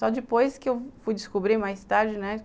Só depois que eu fui descobrir mais tarde, né?